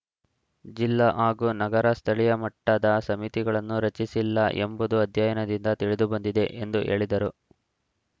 ಜಿಲ್ಲಾ ಹಾಗೂ ನಗರ ಸ್ಥಳೀಯ ಮಟ್ಟದ ಸಮಿತಿಗಳನ್ನು ರಚಿಸಿಲ್ಲ ಎಂಬುದು ಅಧ್ಯಯನದಿಂದ ತಿಳಿದುಬಂದಿದೆ ಎಂದು ಹೇಳಿದರು